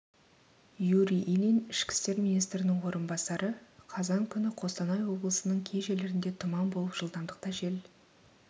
юрий ильин ішкі істер министрінің орынбасары қазан күні қостанай облысының кей жерлерінде тұман болып жылдамдықта жел